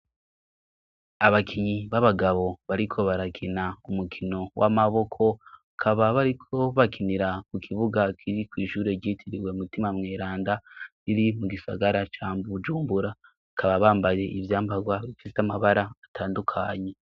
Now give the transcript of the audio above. Abakinyi b'abagabo bariko barakina umukino w'amaboko, bakaba bariko bakinira ku kibuga kiri kwishure ryitiriwe mutima mweranda riri mu gisagara ca Bujumbura bakaba bambaye ivyambagwa bifise amabara atandukanye.